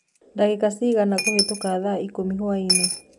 dagika cĩĩgana kuhituka thaa ĩkũmĩ hwaĩnĩ